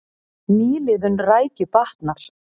Nýliðun rækju batnar